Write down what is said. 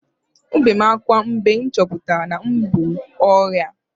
Ebere m akwa mgbe m chọpụtara na m bu ọrịa